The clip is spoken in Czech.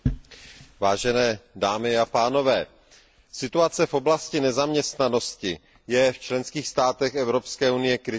Vážené dámy a pánové, situace v oblasti nezaměstnanosti je v členských státech Evropské unie kritická.